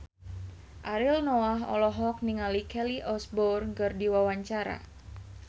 Ariel Noah olohok ningali Kelly Osbourne keur diwawancara